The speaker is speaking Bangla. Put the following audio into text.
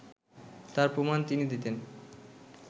তার প্রমাণ তিনি দিতেন